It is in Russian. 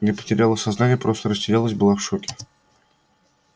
не потеряла сознание просто растерялась была в шоке